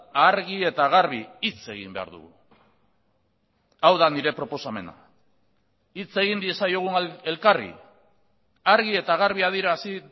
argi eta garbi hitz egin behar dugu hau da nire proposamena hitz egin diezaiogun elkarri argi eta garbi adierazi